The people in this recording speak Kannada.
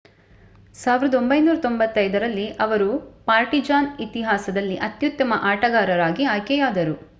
1995 ರಲ್ಲಿ ಅವರು ಪಾರ್ಟಿಜಾನ್ ಇತಿಹಾಸದಲ್ಲಿ ಅತ್ಯುತ್ತಮ ಆಟಗಾರರಾಗಿ ಆಯ್ಕೆಯಾದರು